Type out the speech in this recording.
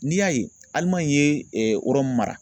N'i y'a ye Alimaɲi ye yɔrɔ mun mara